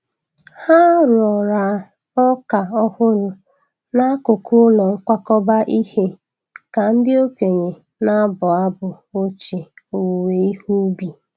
Ha roara ọka ọhụrụ n'akụkụ ụlọ nkwakọba ihe ka ndị okenye na-abụ abụ ochie owuwe ihe ubi.